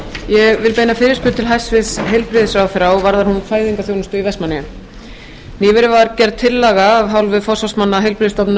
ég vil beina fyrirspurn til hæstvirts heilbrigðisráðherra og varðar hún fæðingarþjónustu í vestmannaeyjum nýverið var gerð tillaga af hálfu forsvarsmanna heilbrigðisstofnunar